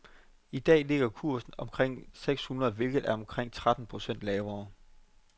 I dag ligger kursen omkring seks hundrede, hvilket er omkring tretten procent lavere.